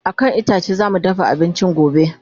a kan itace zamu dafa abinci gobe